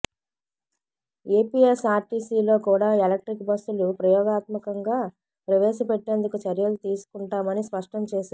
ఏపీఎస్ఆర్టీసీలో కూడా ఎలక్ట్రిక్ బస్సులు ప్రయోగాత్మకంగా ప్రవేశపెట్టేందుకు చర్యలు తీసుకుం టామని స్పష్టం చేశారు